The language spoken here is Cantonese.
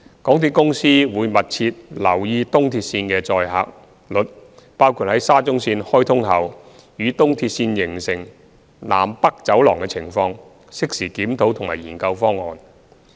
港鐵公司會密切留意東鐵線的載客率，包括在沙中線開通後與東鐵線形成"南北走廊"的情況，適時檢討及研究方案。